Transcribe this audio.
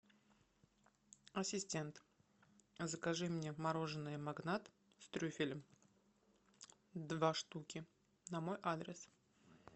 ассистент закажи мне мороженое магнат с трюфелем два штуки на мой адрес